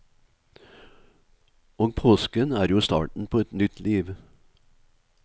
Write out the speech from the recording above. Og påsken er jo starten på nytt liv.